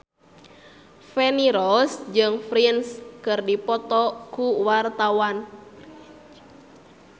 Feni Rose jeung Prince keur dipoto ku wartawan